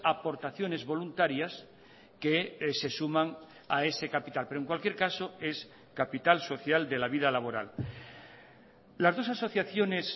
aportaciones voluntarias que se suman a ese capital pero en cualquier caso es capital social de la vida laboral las dos asociaciones